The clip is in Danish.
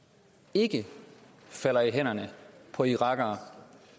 ikke falder i hænderne på irakere